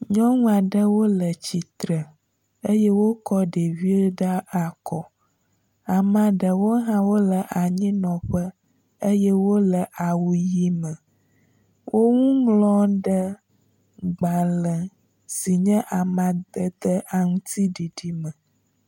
Nyɔnu aɖewo le tsitre eye wokɔ ɖevi ɖe akɔ amea ɖewo hã wo le anyinɔƒe eye wo le awu ʋi me. Woŋu ŋlɔm ɖe gbale si nye amadede aŋtsiɖiɖi me.